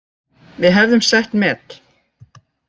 Við hefðum sett met